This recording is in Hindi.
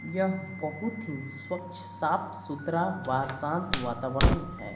यह बहुत हि स्वच्छ साफ सुथरा वात शांत वातावरण हैं।